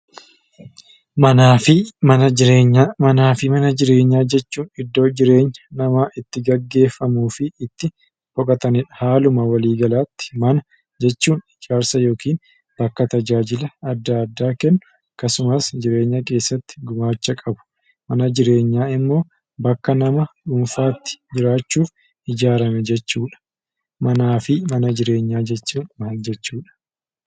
Manaa fi mana jireenyaa jechuun iddoo jireenya namaa itti gaggeeffamuu fi itti boqotanidha. Haaluma waliigalaatti mana jechuun ijaarsa yookiin bakka tajaajila adda addaa kennu akkasumas jireenya keessatti gumaacha qabu. Mana jireenyaa immoo bakka nama dhuunfaatti jiraachuuf ijaarame jechuudha. Manaa fi mana jireenyaa jechuun maal jechuudha?